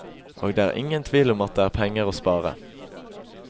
Og det er ingen tvil om at det er penger å spare.